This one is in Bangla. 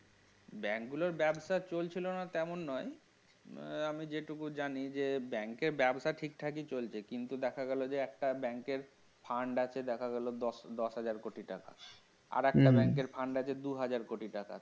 bank গুলোর ব্যবসা চলছিল না তেমন নয় আমি যেটুকু জানি যে bank ব্যবসা ঠিকঠাকই চলছে কিন্তু দেখা গেল যে একটা bank র fund আছে দেখা গেল দশ হাজার কোটি টাকা আরেকটা bank র fund আছে দুই হাজার কোটি টাকা